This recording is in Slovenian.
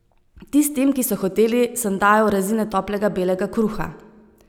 Tistim, ki so hoteli, sem dajal rezine toplega belega kruha.